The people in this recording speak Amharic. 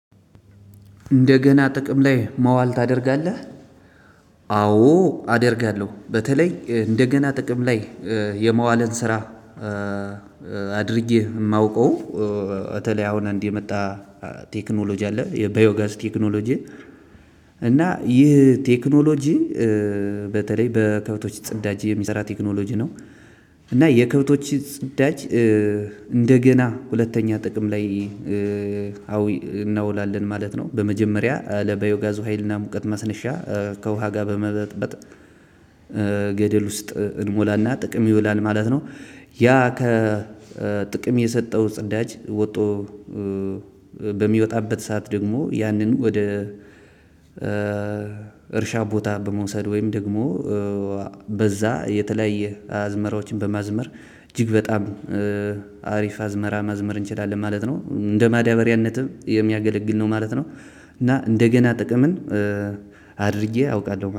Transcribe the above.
እንደገና ጥቅም ላይ ማዋል ታደርጋለህ? አዎ አደርጋለሁ በተለይ እንደገና ጥቅም ላይ የመዋለን ስራ አድርጌ የማውቀው። በተለይ አሁን አንድ የመጣ ቴክኖሎጂ አለ የባዮ ጋዝ ቴክኖሎጂ። እና ይህ ቴክኖሎጂ በተለይ በከብቶች ጽዳጅ የሚሰራ ቴክኖሎጂ ነው። እና የከብቶች ጽዳች እንደገና ሁለተኛ ጥቅም ላይ እናውላለን ማለት ነው። በመጀመሪያ ለባዮጋዙ ሀይልና ሙቀት ማስነሻ ከውሃ ጋር በመበጥበጥ ገደል ውስጥ እንሞላና ጥቅም ይውላል ማለት ነው። ያ ከ ጥቅም የሰጠው ጽዳች ወጦ። በሚወጣበት ሰዓት ደግሞ ያንን ወደ እርሻ ቦታ በመውሰድ ወይም ደግሞ በዛ የተለያየ አዝመራዎችን በማዝመር እጅግ በጣም አሪፍ አዝመራ ማዝመር እንችላለን ማለት ነው። እንደ ማዳበሪያነትም የሚያገለግል ነው ማለት ነው። እና እንደገና ጥቅምን አድርጌ አቃለሁ ማለት ነው